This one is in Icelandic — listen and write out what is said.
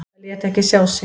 Það lét ekki sjá sig.